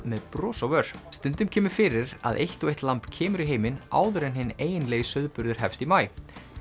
með bros á vör stundum kemur fyrir að eitt og eitt lamb kemur í heiminn áður en hinn eiginlegi sauðburður hefst í maí